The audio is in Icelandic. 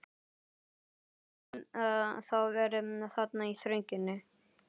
Gerður hafði þá verið þarna í þrönginni.